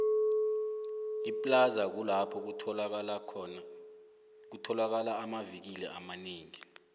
iplaza kulapho kutholakola amavikili amanengi